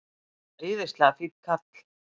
Æðislega fínn kall.